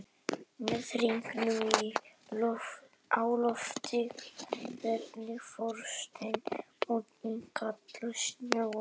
Með hringinn á lofti veður forsetinn út í kaldan sjóinn.